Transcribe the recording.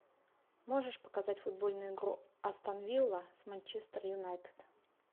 можешь показать футбольную игру астон вилла с манчестер юнайтед